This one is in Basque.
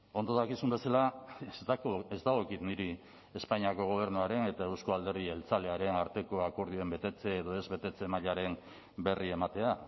ondo dakizun bezala ez dagokit niri espainiako gobernuaren eta euzko alderdi jeltzalearen arteko akordioen betetze edo ez betetze mailaren berri ematea